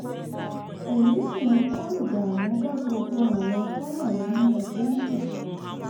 èyí sì ń kó ìdààmú bá gbogbo àwọn tó wà nínú ẹgbẹ́ náà